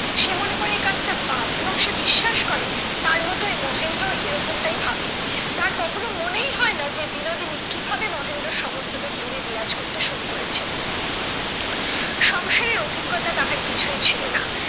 সে মনে করে এই কাজটা পাপ এবং সে বিশ্বাস করে তার মতোই মহেন্দ্রও এরকমটাই ভাবে। তার কখনো মনেই হয়না যে বিনোদিনী কিভাবে মহেন্দ্রর সমস্তটা জুড়ে বিরাজ করতে শুরু করেছে? সংসারের অভিজ্ঞতা তাহার কিছুই ছিল না।